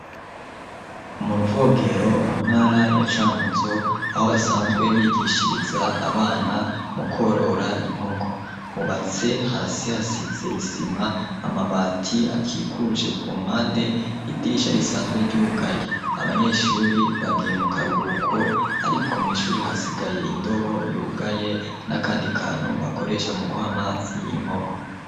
Mu ruvogero mu ntara ya cankuzo aho basanzwe bigishiriza abana mu kworora inkoko hubatse hasi hasizeyisima amabati akikuje ku mpande idirisha risanzwe ryugaye abanyeshuri bagiye mu karuhuko, ariko mw'ishuri hasi kaye indobo yugaye n'akandi kantu bakoresha mu guha amasi inkoko.